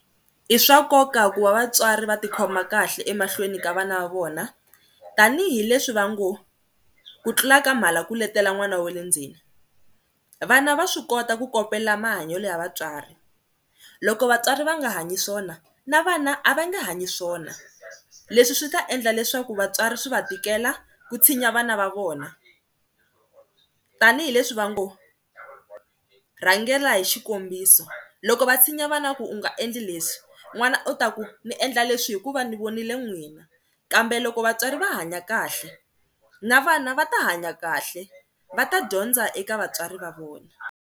I swa nkoka ku va vatswari va tikhoma kahle emahlweni ka vana va vona tanihileswi va ngo ku tlula ka mhala ku letela n'wana wa le ndzeni, vana va swi kota ku kopela mahanyelo ya vatswari, loko vatswari va nga hanyi swona na vana a va nge hanyi swona leswi swi ta endla leswaku vatswari swi va tikela ku tshinya vana va vona tanihileswi va ngo rhangela hi xikombiso. Loko va tshinya vana ku u nga endli leswi n'wana u ta ku ni endla leswi hikuva ni vonile n'wina kambe loko vatswari va hanya kahle na vana va ta hanya kahle, va ta dyondza eka vatswari va vona.